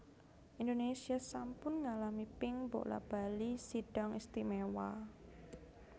Indonésia sampun ngalami ping bola bali Sidang Istimewa